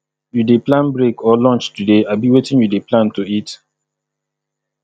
you dey plan break or lunch today abi wetin you dey plan to eat